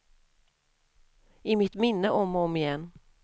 I mitt minne om och om igen.